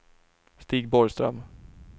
Stig Borgström